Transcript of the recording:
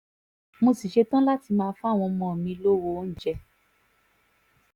mo sì ṣetán láti máa fáwọn ọmọ mi lọ́wọ́ oúnjẹ